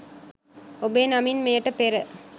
ඔබේ නමින් මෙයට පෙර